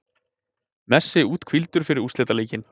Messi úthvíldur fyrir úrslitaleikinn